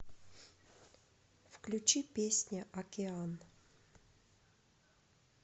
включи песня океан